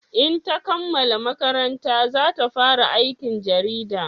In ta kammala makaranta za ta fara aikin jarida